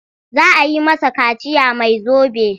Za a yi masa kaciya mai zobe.